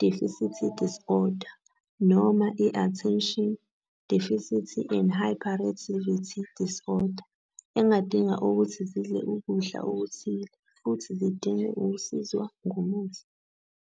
Deficit Disorder noma iAttention Deficit and Hyperactivity Disorder engadinga ukuthi zidle ukudla okuthile futhi zidinge ukusizwa ngomuthi.